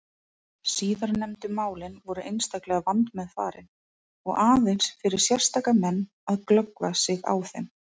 Síðarnefndu málin voru einstaklega vandmeðfarin og aðeins fyrir sérstaka menn að glöggva sig á þeim.